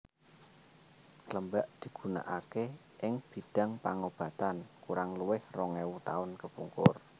Klembak digunakaké ing bidang pangobatan kurang luwih rong ewu tahun kepungkur